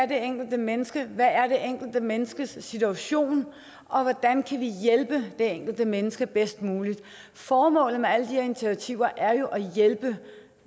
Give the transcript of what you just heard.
det enkelte menneske er hvad der er det enkelte menneskes situation og hvordan man kan hjælpe det enkelte menneske bedst muligt formålet med alle de her initiativer er jo at hjælpe